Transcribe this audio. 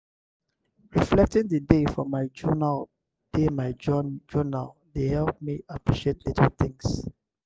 reflecting the day for my journal dey my journal dey help me appreciate little things.